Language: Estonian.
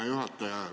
Hea juhataja!